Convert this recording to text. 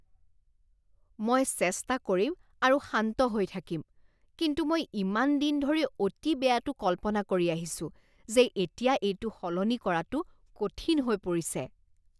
মই চেষ্টা কৰিম আৰু শান্ত হৈ থাকিম কিন্তু মই ইমান দিন ধৰি অতি বেয়াটো কল্পনা কৰি আহিছো যে এতিয়া এইটো সলনি কৰাটো কঠিন হৈ পৰিছে।